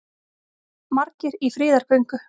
Margir í friðargöngu